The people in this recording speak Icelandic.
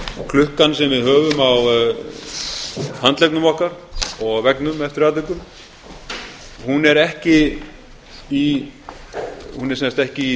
klukkan sem við höfum á handleggnum okkar og á veggnum eftir atvikum hún er ekki í